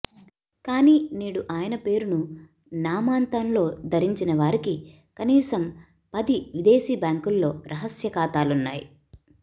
కానీ నేడు ఆయన పేరును నామాంతంలో ధరించినవారికి కనీసం పది విదేశీ బ్యాంకుల్లో రహస్య ఖాతాలున్నాయి